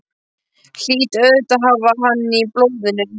Hlýt auðvitað að hafa hann í blóðinu.